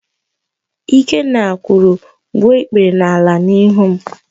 Ikenna kwuru, "gbuo ikpere n'ala n'ihu m"!